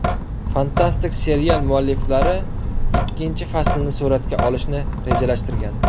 Fantastik serial mualliflari ikkinchi faslni suratga olishni rejalashtirgan.